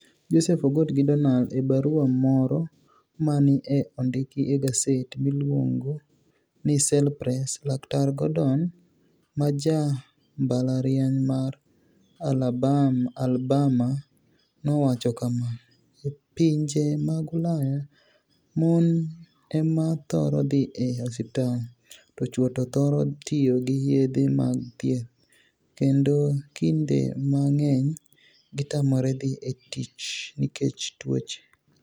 Joseph Ogot gi Doniald . E barua moro ma ni e onidiki e gaset miluonigo nii Cell Press, laktar Gordoni ma ja mbalrianiy mar Alabama nowacho kama: "E pinije mag Ulaya, moni ema thoro dhi e osiptal, to chwo to thoro tiyo gi yedhe mag thieth, kenido kinide manig'eniy gitamore dhi e tich niikech tuoche".